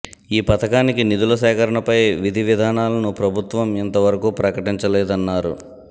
ఈ పథకానికి నిధుల సేకరణపై విధి విధానాలను ప్రభుత్వం ఇంతవరకు ప్రకటించలేదన్నారు